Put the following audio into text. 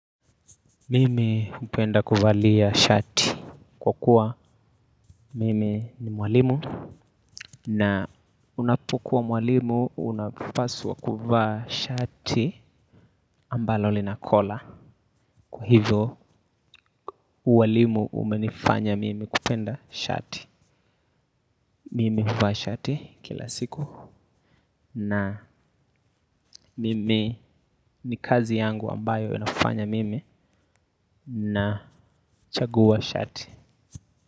Mimi hupenda kuvalia shati kwa kuwa mimi ni mwalimu. Na unapokuwa mwalimu unapaswa kuvaa shati ambalo lina kola. Kwa hivyo ualimu umenifanya mimi kupenda shati. Mimi huvaa shati kila siku. Na mimi ni kazi yangu ambayo inafanya mimi nachagua shati.